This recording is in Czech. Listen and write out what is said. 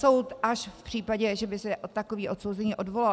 Soud až v případě, že by se takový odsouzený odvolal.